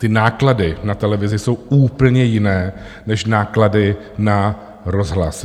Ty náklady na televizi jsou úplně jiné než náklady na rozhlas.